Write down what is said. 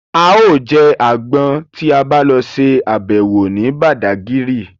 A ó jẹ àgbọn tí a lọ ṣe àbẹ̀wò ní Bàdágírì